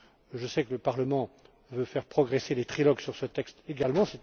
Je sais que le Parlement veut faire progresser les trilogues sur ce texte également.